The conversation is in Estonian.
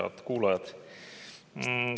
Head kuulajad!